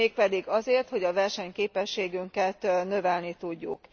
Mégpedig azért, hogy a versenyképességünket növelni tudjuk.